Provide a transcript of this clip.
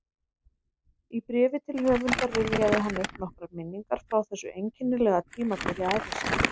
Í bréfi til höfundar rifjaði hann upp nokkrar minningar frá þessu einkennilega tímabili ævi sinnar